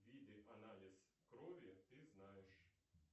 виды анализ крови ты знаешь